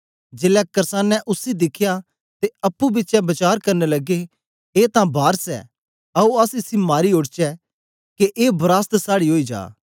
जेलै कर्सानें उसी दिखया ते अप्पुं बिचें वचार करन लगे ए तां वारस ऐ आओ अस इसी मारी ओड़चै के ए वरासत साड़ी ओई जा